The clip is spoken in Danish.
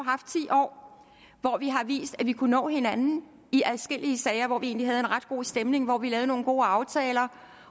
haft ti år hvor vi har vist at vi kunne nå hinanden i adskillige sager og hvor vi egentlig havde en ret god stemning og hvor vi lavede nogle gode aftaler